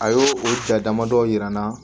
A y'o o ja damadɔ yira n na